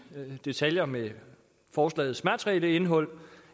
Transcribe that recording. detaljer med forslagets materielle indhold